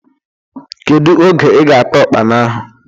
Kedu oge ị ga ata Ụkpana ahụ?